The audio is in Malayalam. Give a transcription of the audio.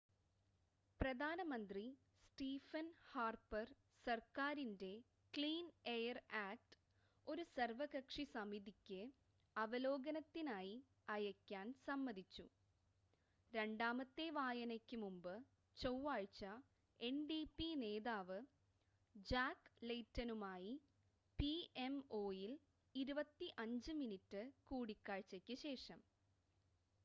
പ്രധാനമന്ത്രി സ്റ്റീഫൻ ഹാർപ്പർ സർക്കാരിൻ്റെ ക്ലീൻ എയർ ആക്റ്റ് ഒരു സർവ്വകക്ഷി സമിതിക്ക് അവലോകനത്തിനായി അയയ്ക്കാൻ സമ്മതിച്ചു രണ്ടാമത്തെ വായനയ്ക്ക് മുമ്പ് ചൊവ്വാഴ്ച എൻഡിപി നേതാവ് ജാക്ക് ലെയ്റ്റനുമായി പിഎംഒയിൽ 25 മിനിറ്റ് കൂടിക്കാഴ്ചയ്ക്ക് ശേഷം